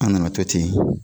An nana to ten.